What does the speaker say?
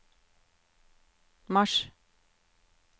mars